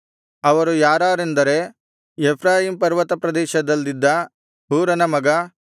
ಅವರು ಯಾರಾರೆಂದರೆ ಎಫ್ರಾಯೀಮ್ ಪರ್ವತ ಪ್ರದೇಶದಲ್ಲಿದ್ದ ಹೂರನ ಮಗ